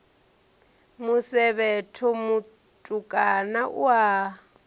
musevhetho mutukana u a ya